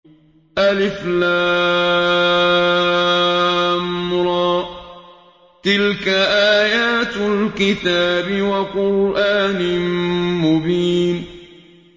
الر ۚ تِلْكَ آيَاتُ الْكِتَابِ وَقُرْآنٍ مُّبِينٍ